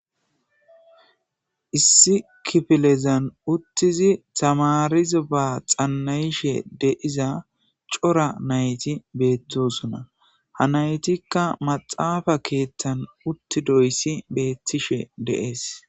Issi kifilezan uttizi tamarezi ba xanna7ishe de7iza cora nayti beettosona ha naytikka maxaafa keethtan uttidoyssi beettishe de7ees.